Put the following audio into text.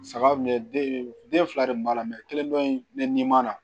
Saga mun filɛ den fila de b'a la kelen dɔ in ne ni ma na